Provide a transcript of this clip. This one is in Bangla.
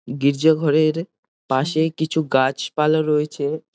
গির্জা ঘরের পাশেই কিছু গাছপালা রয়েছে ।